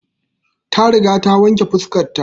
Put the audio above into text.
Ta riga ta wanke fuskar ta